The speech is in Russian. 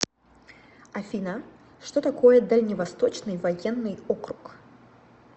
афина что такое дальневосточный военный округ